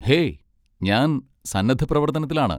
Hey, ഞാൻ സന്നദ്ധപ്രവർത്തനത്തിലാണ്.